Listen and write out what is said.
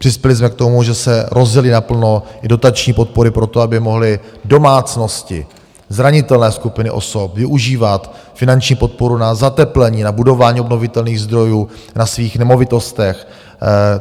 Přispěli jsme k tomu, že se rozjely naplno i dotační podpory pro to, aby mohly domácnosti, zranitelné skupiny osob, využívat finanční podporu na zateplení, na budování obnovitelných zdrojů na svých nemovitostech.